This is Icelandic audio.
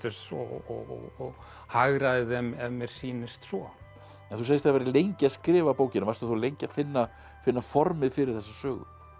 og hagræði þeim ef mér sýnist svo en þú segist hafa verið lengi að skrifa bókina varstu þá lengi að finna finna formið fyrir þessa sögu